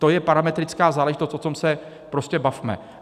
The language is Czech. To je parametrická záležitost, o tom se prostě bavme.